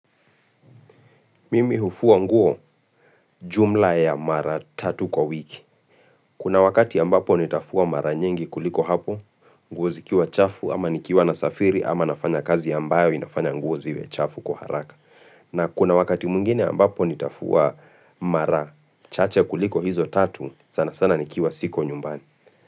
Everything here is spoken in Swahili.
Mimi hufua nguo jumla ya mara tatu kwa wiki. Kuna wakati ambapo nitafua mara nyingi kuliko hapo, nguozi kiwa chafu ama nikiwa nasafiri ama nafanya kazi ambayo inafanya nguoziwe chafu kwa haraka. Na kuna wakati mwingine ambapo nitafua mara, chache kuliko hizo tatu, sana sana nikiwa siko nyumbani.